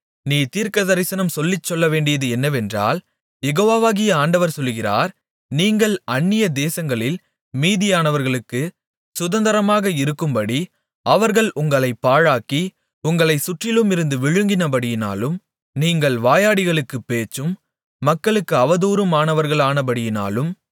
நீ தீர்க்கதரிசனம் சொல்லிச் சொல்லவேண்டியது என்னவென்றால் யெகோவாகிய ஆண்டவர் சொல்லுகிறார் நீங்கள் அந்நியதேசங்களில் மீதியானவர்களுக்குச் சுதந்தரமாக இருக்கும்படி அவர்கள் உங்களைப் பாழாக்கி உங்களைச் சுற்றிலுமிருந்து விழுங்கினபடியினாலும் நீங்கள் வாயாடிகளுக்குப் பேச்சும் மக்களுக்கு அவதூறுமானவர்களானபடியினாலும்